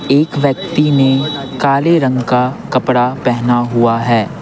एक व्यक्ति ने काले रंग का कपड़ा पहना हुआ है।